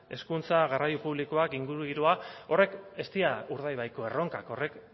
hezkuntza garraio publikoak ingurugiroa horiek ez dira urdaibaiko erronkak horrek